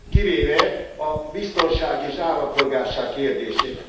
kivéve a biztonság és állampolgárság kérdését.